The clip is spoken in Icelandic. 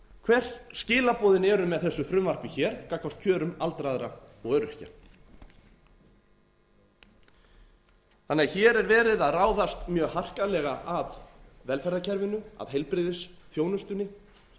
hver skilaboðin eru með þessu frumvarpi hér gagnvart kjörum aldraðra og öryrkja hér er verið að ráðast mjög harkalega að velferðarkerfinu að heilbrigðisþjónustunni